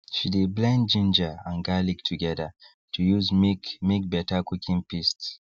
she de blend ginger and garlic together to use make make better cooking paste